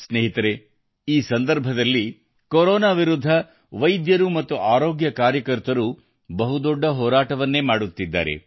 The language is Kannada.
ಸ್ನೇಹಿತರೆ ಈ ಸಂದರ್ಭದಲ್ಲಿ ಕೊರೊನಾ ವಿರುದ್ಧ ವೈದ್ಯರು ಮತ್ತು ಆರೋಗ್ಯ ಕಾರ್ಯಕರ್ತರು ಬಹುದೊಡ್ಡ ಹೋರಾಟವನ್ನೇ ಮಾಡುತ್ತಿದ್ದಾರೆ